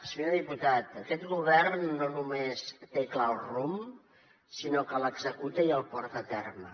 senyor diputat aquest govern no només té clar el rumb sinó que l’executa i el porta a terme